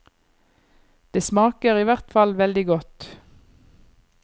Det smaker i hvert fall veldig godt.